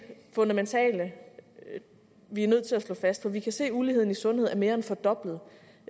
fundamentale vi er nødt til at slå fast for vi kan se at uligheden i sundhed er mere end fordoblet